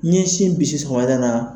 N ɲɛ sin bisi sɔgɔmada la.